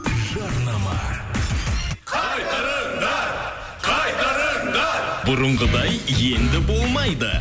жарнама қайтарыңдар қайтарыңдар бұрынғыдай енді болмайды